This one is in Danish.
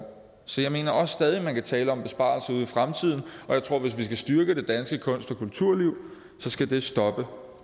så jeg mener også stadig at man kan tale om besparelser ude i fremtiden og jeg tror at hvis vi skal styrke det danske kunst og kulturliv så skal det stoppe